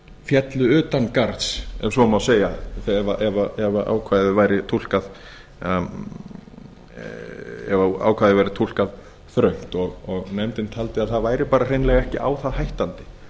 félli utangarðs ef svo má segja ef ákvæðið væri túlkað þröngt og nefndin taldi að það væri bara hreinlega ekki á það hættandi